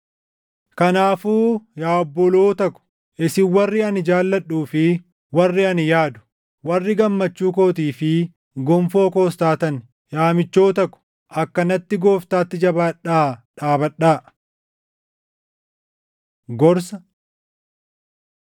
Kanaafuu yaa obboloota ko, isin warri ani jaalladhuu fi warri ani yaadu, warri gammachuu kootii fi gonfoo koos taatan, yaa michoota ko, akkanatti Gooftaatti jabaadhaa dhaabadhaa! Gorsa